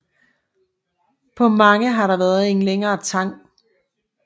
På mange har der været en længere tang